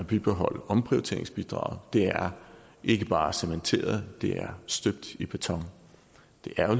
bibeholde omprioriteringsbidraget det er ikke bare cementeret det er støbt i beton det er